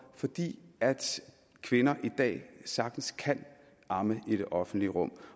fordi kvinder i dag sagtens kan amme i det offentlige rum